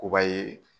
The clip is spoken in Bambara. Koba ye